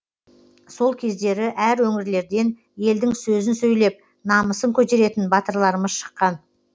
сол кездері әр өңірлерден елдің сөзін сөйлеп намысын көтеретін батырларымыз шыққан